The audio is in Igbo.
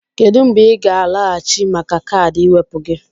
Kedu mgbe ị ga-alọghachi maka kaadị ịwepụ gị?